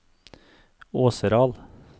Åseral